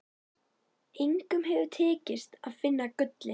Engum hefur tekist að finna gullið.